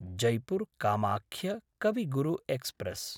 जैपुर्–कामाख्य कवि गुरु एक्स्प्रेस्